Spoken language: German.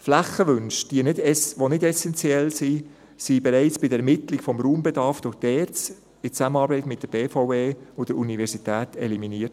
Flächenwünsche, die nicht essenziell sind, wurden bereits bei der Ermittlung des Raumbedarfs durch die ERZ in Zusammenarbeit mit der BVE und der Universität eliminiert.